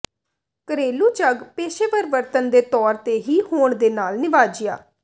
ਘਰੇਲੂ ਝੱਗ ਪੇਸ਼ੇਵਰ ਵਰਤਣ ਦੇ ਤੌਰ ਤੇ ਹੀ ਹੋਣ ਦੇ ਨਾਲ ਨਿਵਾਜਿਆ